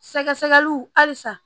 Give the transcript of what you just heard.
Sɛgɛsɛgɛliw halisa